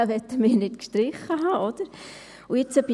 Diesen möchten wir nicht gestrichen haben, nicht wahr.